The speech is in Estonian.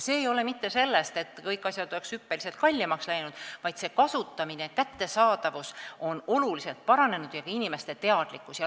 See ei tulene mitte sellest, et kõik asjad oleksid hüppeliselt kallimaks läinud, vaid kättesaadavus on oluliselt paranenud ja on paranenud ka inimeste teadlikkus.